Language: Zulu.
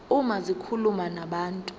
uma zikhuluma nabantu